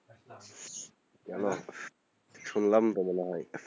কেন শুনলাম তো মনে হয়,